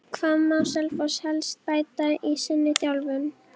Hvað má Selfoss helst bæta í sinni þjálfun?